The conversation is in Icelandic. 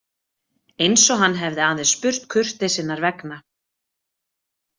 Eins og hann hefði aðeins spurt kurteisinnar vegna.